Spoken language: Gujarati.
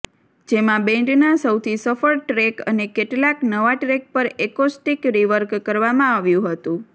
જેમાં બેન્ડના સૌથી સફળ ટ્રેક અને કેટલાક નવા ટ્રેક પર એકોસ્ટિક રિવર્ક કરવામાં આવ્યું હતું